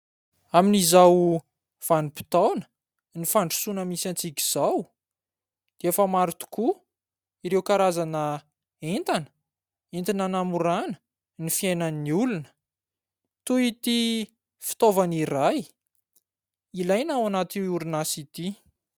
Amin'izao vanim-potoanan'ny fandrosoana misy antsika izao dia efa maro tokoa ireo karazana entana, entina hanamorana ny fiainan'ny olona; toy ity fitaovana iray ilaina ao anaty orinasa ity.